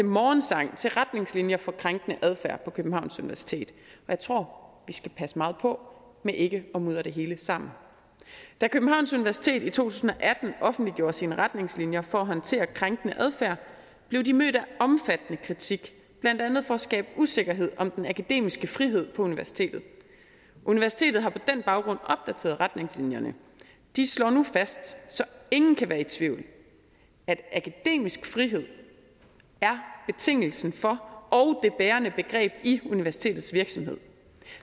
morgensang til retningslinjer for krænkende adfærd på københavns universitet jeg tror vi skal passe meget på med ikke at mudre det hele sammen da københavns universitet i to tusind og atten offentliggjorde sine retningslinjer for at håndtere krænkende adfærd blev de mødt af omfattende kritik blandt andet for at skabe usikkerhed om den akademiske frihed på universitetet universitetet har på den baggrund opdateret retningslinjerne de slår nu fast så ingen kan være i tvivl at akademisk frihed er betingelsen for og det bærende begreb i universitetets virksomhed